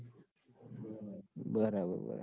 બરાબર બરાબર